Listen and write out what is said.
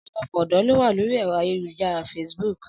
Ọ̀pọ̀lọpọ̀ ọ̀dọ́ ló wà lórí ẹ̀rọ ayélujára facebook